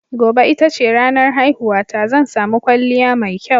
Gobe ita ce ranar haihuwata, zan sami kwalliya mai kyau.